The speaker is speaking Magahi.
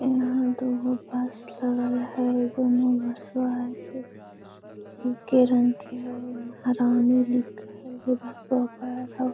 एन्हा दू गो बस लगल हई। दुनु बसवा हई से एके रंग के हई महारानी लिखल हई बसवा पर आउ --